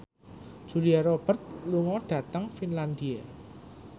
Julia Robert lunga dhateng Finlandia